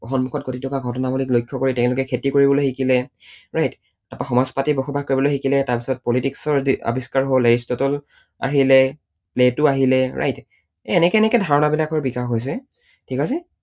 সন্মুখত ঘটিথকা ঘটনাৱলীক লক্ষ্য কৰি তেওঁলোকে খেতি কৰিবলৈ শিকিলে। right তাৰপৰা সমাজ পাতি বসবাস কৰিবলৈ শিকিলে, তাৰপিছত politics ৰ আৱিষ্কাৰ হল, এৰিষ্ট্‌টল আহিলে, প্লেটো আহিলে, right এনেকে এনেকে ধাৰণা বিলাকৰ বিকাশ হৈছে, ঠিক আছে?